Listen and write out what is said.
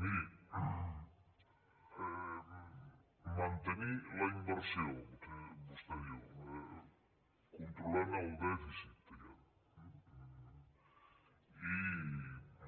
miri mantenir la inversió vostè diu controlant el dèficit diguem ne i